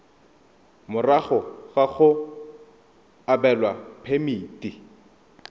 morago ga go abelwa phemiti